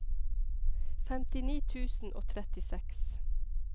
femtini tusen og trettiseks